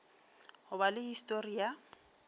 go ba le histori ya